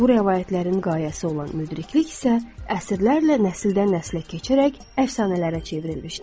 Bu rəvayətlərin qayəsi olan müdriklik isə əsrlərlə nəsildən nəslə keçərək əfsanələrə çevrilmişdi.